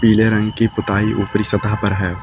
पीले रंग की पुताई ऊपरी सतह पर है।